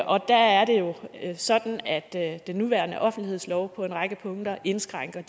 og der er det jo sådan at den nuværende offentlighedslov på en række punkter indskrænker